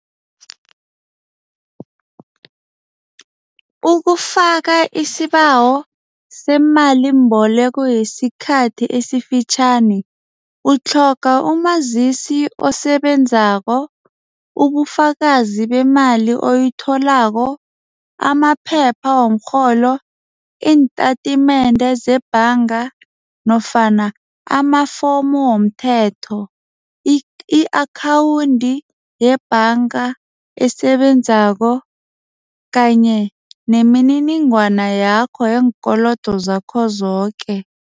Ukufaka isibawo semalimboleko yesikhathi esifitjhani. Utlhoga umazisi osebenzako, ubufakazi bemali oyitholako, amaphepha womrholo, iintatimende zebhanga nofana amafomu womthetho, i-akhawundi yebhanga esebenzako kanye nemininingwana yakho yeenkolodo zakho zoke.